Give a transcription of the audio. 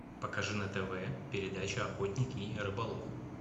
покажи на тв передачу охотник и рыболов